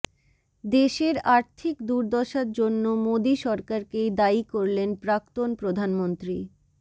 দেশের আর্থিক দুর্দশার জন্য মোদী সরকারকেই দায়ী করলেন প্রাক্তন প্রধানমন্ত্রী